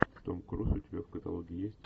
том круз у тебя в каталоге есть